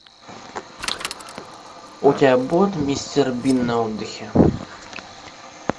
у тебя будет мистер бин на отдыхе